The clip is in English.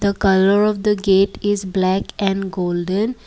colour of the gate is black and golden.